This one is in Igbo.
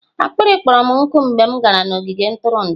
akpịrị kpọrọ m nkụ mgbe m gara n'ogige ntụrụndụ.